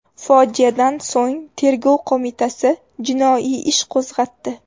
Fojiadan so‘ng Tergov qo‘mitasi jinoiy ish qo‘zg‘atdi.